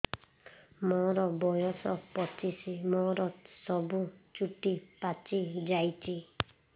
ମୋର ବୟସ ପଚିଶି ମୋର ସବୁ ଚୁଟି ପାଚି ଯାଇଛି